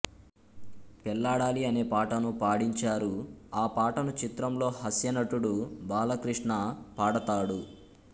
పెళ్ళాడాలి అనేపాటను పాడించారు ఆ పాటను చిత్రంలో హాస్యనటుడు బాలకృష్ణ పాడతాడు